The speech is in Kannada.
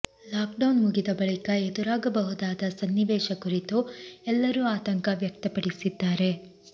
ಲಾಕ್ಡೌನ್ ಮುಗಿದ ಬಳಿಕ ಎದುರಾಗಬಹುದಾದ ಸನ್ನಿವೇಶ ಕುರಿತು ಎಲ್ಲರೂ ಆತಂಕ ವ್ಯಕ್ತಪಡಿಸಿದ್ದಾರೆ